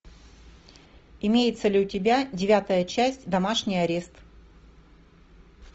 имеется ли у тебя девятая часть домашний арест